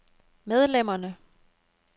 medlemmerne